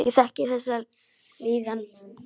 Ég þekki þessa líðan.